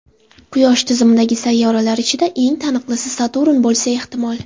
Quyosh tizimidagi sayyoralar ichida eng taniqlisi Saturn bo‘lsa ehtimol.